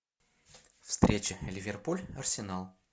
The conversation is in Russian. встреча ливерпуль арсенал